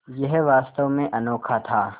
यह वास्तव में अनोखा था